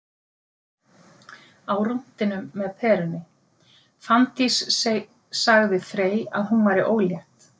Á rúntinum með Perunni: Fanndís sagði Frey að hún væri ólétt